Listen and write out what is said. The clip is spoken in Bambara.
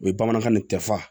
O ye bamananw ni tɛfa